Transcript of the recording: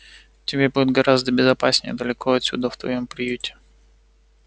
тебе будет гораздо безопаснее далеко отсюда в твоём приюте